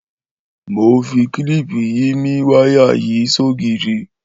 Mó n fi kilipi yi mì wàyá yi sógiri